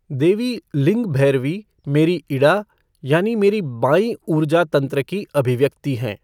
देवी लिंग भैरवी मेरी इड़ा यानी मेरी बाईं ऊर्जा तंत्र की अभिव्यक्ति हैं।